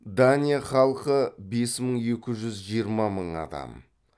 дания халқы бес мың екі жүз жиырма мың адам